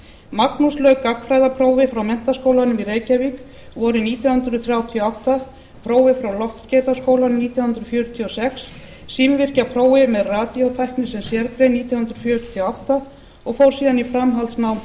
magnús lauk gagnfræðaprófi frá menntaskólanum í reykjavík vorið nítján hundruð þrjátíu og átta prófi frá loftskeytaskólanum nítján hundruð fjörutíu og sex símvirkjaprófi með radíótækni sem sérgrein nítján hundruð fjörutíu og átta og fór síðan í framhaldsnám hjá